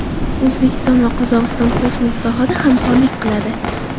O‘zbekiston va Qozog‘iston kosmik sohada hamkorlik qiladi.